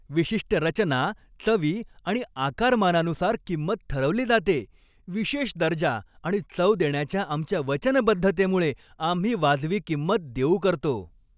विशिष्ट रचना, चवी आणि आकारमानानुसार किंमत ठरवली जाते. विशेष दर्जा आणि चव देण्याच्या आमच्या वचनबद्धतेमुळे आम्ही वाजवी किंमत देऊ करतो!